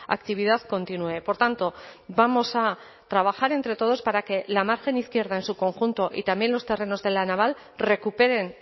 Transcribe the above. actividad continúe por tanto vamos a trabajar entre todos para que la margen izquierda en su conjunto y también los terrenos de la naval recuperen